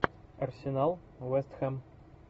арсенал вест хэм